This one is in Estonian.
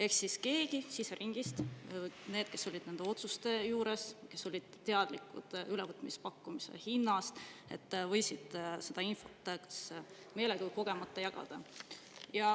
Ehk siis keegi siseringist – keegi, kes oli nende otsuste juures ja oli teadlik ülevõtmispakkumise hinnast – võis seda infot kas meelega või kogemata jagada.